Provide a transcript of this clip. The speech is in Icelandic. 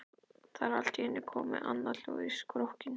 Það er allt í einu komið annað hljóð í strokkinn.